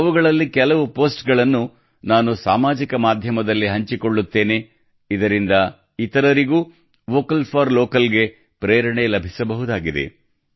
ಅವುಗಳಲ್ಲಿ ಕೆಲವು ಪೋಸ್ಟ್ಗಳನ್ನು ನಾನು ಸಾಮಾಜಿಕ ಮಾಧ್ಯಮದಲ್ಲಿ ಹಂಚಿಕೊಳ್ಳುತ್ತೇನೆ ಇದರಿಂದ ಇತರರಿಗೂ ವೋಕಲ್ ಫಾರ್ ಲೋಕಲ್ ಗೆ ಪ್ರೇರಣೆ ಲಭಿಸಬಹುದಾಗಿದೆ